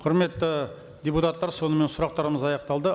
құрметті депутаттар сонымен сұрақтарымыз аяқталды